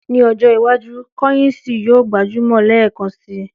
Ní ọjọ́ iwájú, kọ́yìǹsì yóò gbajúmọ̀ lẹ́ẹ̀kan si.